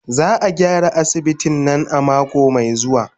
Za a gyara asibitin nan a mako mai zuwa.